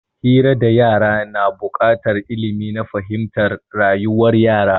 Hira da yara na bukatar ilmi na fahimtar rayuwar yara